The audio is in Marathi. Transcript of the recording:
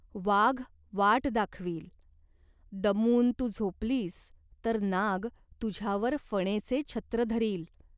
वाघ वाट दाखवील. दमून तू झोपलीस तर नाग तुझ्यावर फणेचे छत्र धरील.